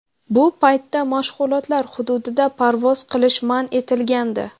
Bu paytda mashg‘ulotlar hududida parvoz qilish man etilgandi.